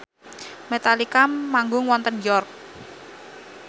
Metallica manggung wonten York